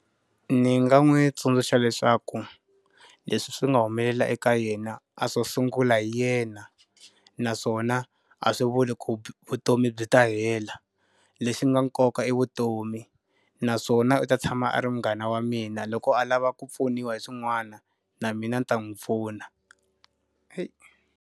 Ni nga n'wi tsundzuxa leswaku, leswi swi nga humelela eka yena a swo sungula hi yena. Naswona a swi vuli ku vutomi byi ta hele. Lexi nga nkoka i vutomi, naswona u ta tshama a ri munghana wa mina loko a lava ku pfuniwa hi swin'wana, na mina ni ta n'wi pfuna.